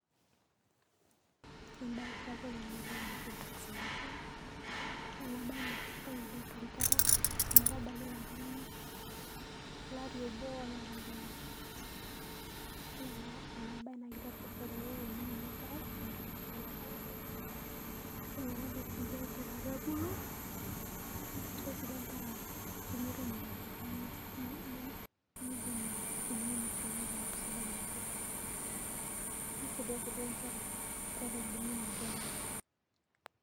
Ebae sapuk ena naji vaccination Yielo ena bae na kesidai oleng' too Nkera metabaki ilarin, Lari obo Olopaitin isiet, ore ena bae naa keiteru teneini Enkerai ometabaki lelo Arin, Keitoki ake sii aisaidia Enkera peebulu neisaidia sii Enkera peemetum imoyiaritin nem neidimieyie imoyiaritin peeku sidai oleng'. Neisaidia tii duo Enkera tiatua embulunoto enye.